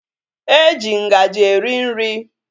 Eji ngaji eri nri